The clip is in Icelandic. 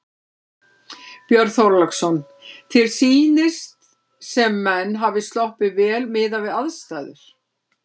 Björn Þorláksson: Þér sýnist sem menn hafi sloppið vel miðað við aðstæður?